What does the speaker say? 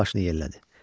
Qız başını yellədi.